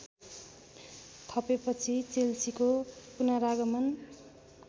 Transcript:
थपेपछि चेल्सीको पुनरागमन